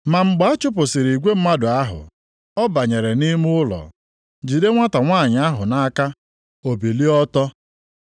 Ma mgbe achụpụsịrị igwe mmadụ ahụ, ọ banyere nʼime ụlọ, jide nwata nwanyị ahụ nʼaka, o bilie ọtọ.